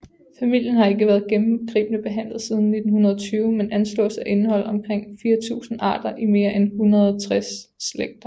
Familien har ikke været gennemgribende behandlet siden 1920 men anslås at indeholde omkring 4000 arter i mere end 160 slægter